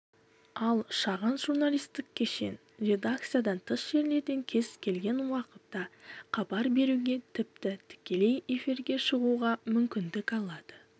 ал шағын журналистік кешен редакциядан тыс жерлерден кез-келген уақытта хабар беруге тіпті тікелей эфирге шығуға мүмкіндік алады